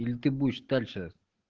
или ты будешь дальше